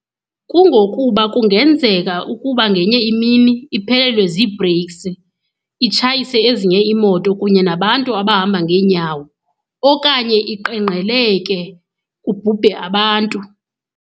Kungokuba kungenzeka ukuba ngenye imini iphelelwe zii-breaks, itshayise ezinye iimoto kunye nabantu abahamba ngeenyawo. Okanye iqenqgeleke kubhubhe abantu.